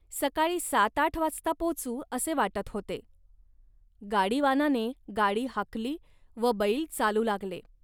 सकाळी सात आठ वाजता पोचू, असे वाटत होते. गाडीवानाने गाडी हाकली व बैल चालू लागले